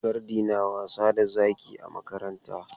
Gardi na wasa da zaki a makaranta.